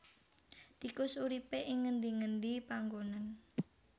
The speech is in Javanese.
Tikus uripé ing ngendi ngendi panggonan